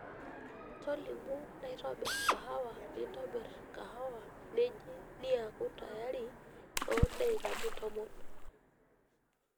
tolimu naitobir kahawa nitobir kahawa neji niaku tayari too deikani tomon